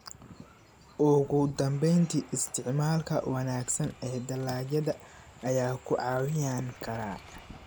Ugu dambeyntii, isticmaalka wanaagsan ee dalagyada ayaa ku caawin kara.